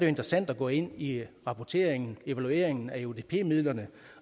interessant at gå ind i rapporteringen og evalueringen af eudp midlerne